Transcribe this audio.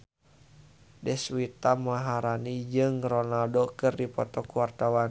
Deswita Maharani jeung Ronaldo keur dipoto ku wartawan